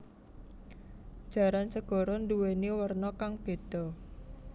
Jaran segara nduwèni werna kang béda